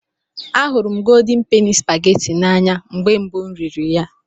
Ahụrụ m Goldin Peni Supageti n'anya mgbe mbụ m riri ya.